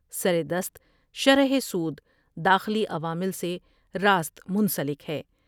سر دست شرح سود داخلی عوامل سے راست منسلک ہے ۔